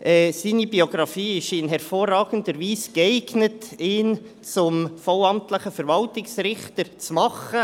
Aufgrund seiner Biografie ist er in hervorragender Weise geeignet, um zum vollamtlichen Verwaltungsrichter gemacht zu werden.